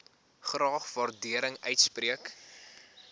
graag waardering uitspreek